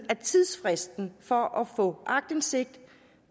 at tidsfristen for at få aktindsigt